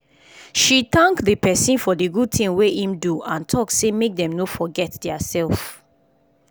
she thank the person for the good thing wey im do and talk say make dem no forget their self